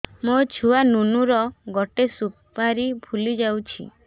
ମୋ ଛୁଆ ନୁନୁ ର ଗଟେ ସୁପାରୀ ଫୁଲି ଯାଇଛି